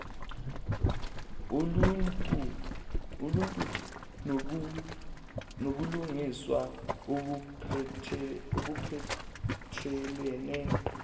oluntu nobulungiswa obuphathelene